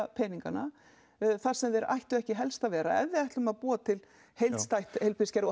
peningana þar sem þeir ættu helst ekki að vera ef við ætlum að búa til heilstætt heilbrigðiskerfi og